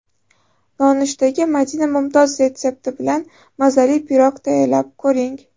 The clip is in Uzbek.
Nonushtaga Madina Mumtoz retsepti bilan mazali pirog tayyorlab ko‘ring .